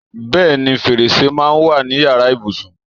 Bẹẹni, fèrèsé máa ń wà ní Ìyàrá ibùsùn.